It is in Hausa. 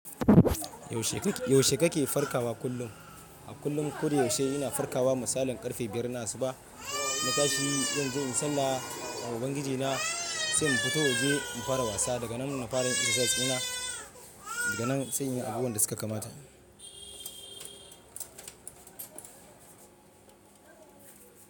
Yaushe kake farkawa kullum? A kullum. Koda yaushe ina farkawa da misalin karfe 5:00 asuba na tashi don in je inyi sallah a wurin ubangiji na sai mu fito waje mu fara wasa. Daga nan ina fara yin exercises ina daga nan sai yin abubuwan da suka kamata.